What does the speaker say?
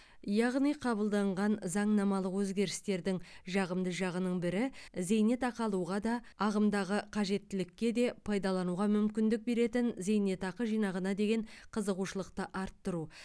яғни қабылданған заңнамалық өзгерістердің жағымды жағының бірі зейнетақы алуға да ағымдағы қажеттілікке де пайдалануға мүмкіндік беретін зейнетақы жинағына деген қызығушылықты арттыру